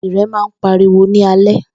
Ìrẹ̀ má ń pariwo ní alẹ́.